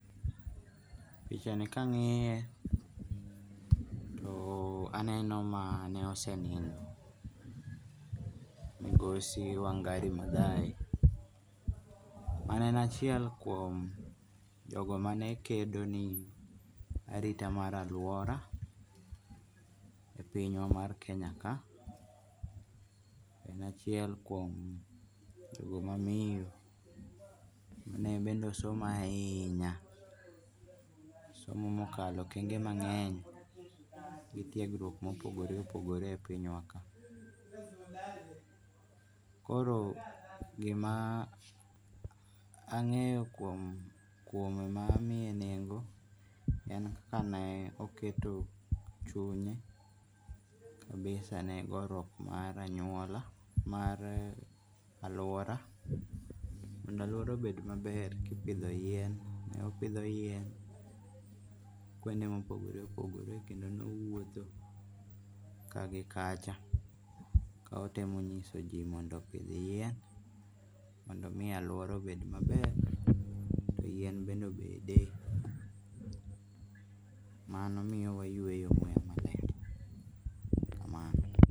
Pichani ka angi'ye too aneno mane osenindo migosi Wangari Mathai mane en achiel kuom jogo mane kedo ni arita marita mar aluora e pinywa mar Kenya kae , en achiel kuom jogo mamiyo ma bende osomo ahinyaa osomo ma okalo okenge mange'ny gi tiegruok ma opogore opogore e pinywaka. koro gima ange'yo kuome ma amiye nengo' en kaneoketo chunye kabisa ne goruok mar aluora mondo aluora obet maler kipidho yien ne opidho yien kendo ne owuotho kaa gi kacha kotemo nyiso ji mondo opith yien mondo omi aluora obed maler yien bende obede mano miyowa wayueyo maber kamano